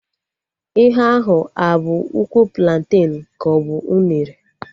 Ihe ahụ a bụ ụkwụ planten ka ọ bụ unere?